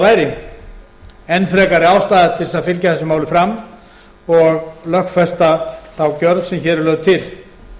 væri enn frekari ástæða til þess að fylgja þessu máli fram og lögfesta þá gjörð sem hér er lögð til